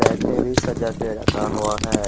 Bag में भी सजाके रखा हुआ है।